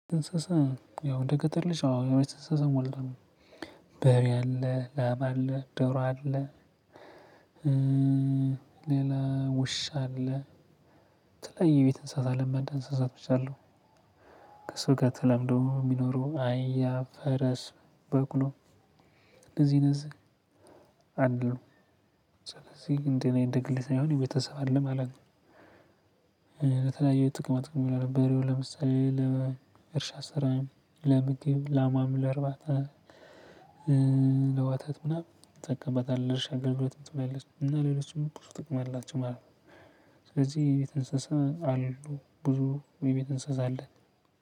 እንስሳ ያው እንደ ገጠር ልጅ አዎ የቤት እንስሳ ሞልቷል በሬ አለ ላም አለ ዶሮ አለ። ሌላ ውሻ አለ። የተለያዩ የቤት እንስሳት ለማዳ እንስሳቶች አሉ። ከሰው ጋር ተለምደው የሚኖሩ አህያ ፈረስ በቅሎ እንደዚህ እንደዚህ አሉ። ስለዚህ እንደኔ እንደ ግሌ ሳይሆን የቤተሰብ አለ ማለት ነው። ለተለያዩ ጥቅመ ጥቅም ይውላሉ በሬው ለምሳሌ ለእርሻ ስራ ለምግብ ላሟን ለርባታ። ለወተት ምናምን እጠቀምበታለሁ ለእርሻ አገልግሎት ትጠቅማለች እና ሌሎችም ብዙ ጥቅም አላቸው ማለት ነው። ስለዚህ የቤት እንስሳ አሉ ብዙ የቤት እንስሳ አለን